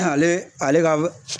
Ale ale ka